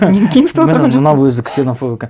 мен кемсітіп отырған жоқпын міне мынау өзі ксенофоб екен